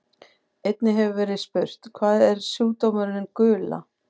Einnig hefur verið spurt: Hvað er sjúkdómurinn gula?